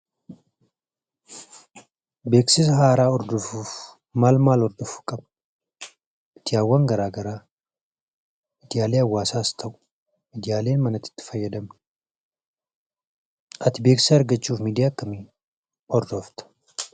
Beeksisa haaraa hordofuuf maal maal hordofuu qabna? Miidiyaawwan garaa garaa, miidiyaalee hawwaasaas ta'u miidiyaalee mana keessatti itti fayyadamnu. Ati beeksisa argachuuf miidiyaa akkamii hordofta?